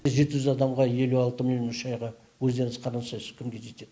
жеті жүз адамға елу алты миллион үш айға өздеріңіз қарасайш кімге жетеді